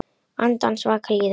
Andans vaka líður.